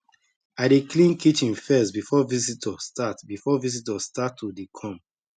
i dey clean kitchen first before visitor start before visitor start to dey come